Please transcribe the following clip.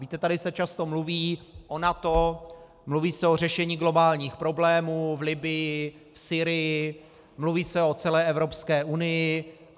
Víte, tady se často mluví o NATO, mluví se o řešení globálních problémů v Libyi, v Sýrii, mluví se o celé Evropské unii.